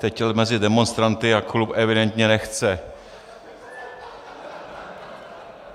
Teď chtěl mezi demonstranty a klub evidentně nechce.